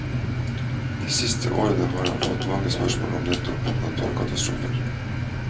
De siste årene har han fått mange spørsmål om nettopp naturkatastrofer.